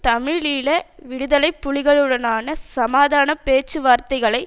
தமிழீழ விடுதலை புலிகளுடனான சமாதான பேச்சுவார்த்தைகளை